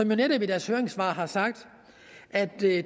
jo netop i deres høringssvar sagt at det